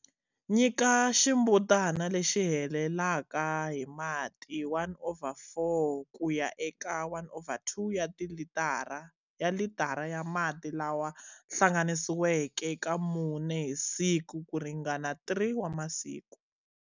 Nyika ximbutana lexi helelaka hi mati 1 over 4 ku ya eka 1 over 2 ya litara ya mati lawa hlanganisiweke ka mune hi siku ku ringana 3 wa masiku.